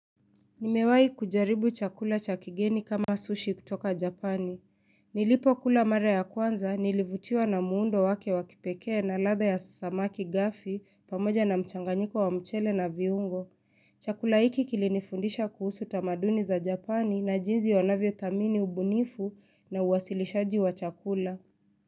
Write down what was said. Nimewahi kujaribu chakula cha kigeni kama sushi kutoka japani. Nilipokula mara ya kwanza, nilivutiwa na muundo wake wa kipekee na ladha ya samaki gafi pamoja na mchanganyiko wa mchele na viungo Chakula hiki kilinifundisha kuhusu tamaduni za japani na jinsi wanavyothamini ubunifu na uwasilishaji wa chakula.